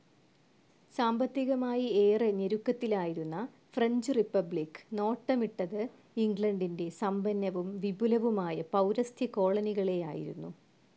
സാമ്പത്തികമായി ഏറെ ഞെരുക്കത്തിലായിരുന്ന ഫ്രഞ്ച്‌ റിപ്പബ്ലിക്‌ നോട്ടമിട്ടത് ഇംഗ്ലണ്ടിന്റെ സമ്പന്നവും വിപുലവുമായ പൗരസ്ത്യ കോളനികളേയായിരുന്നു.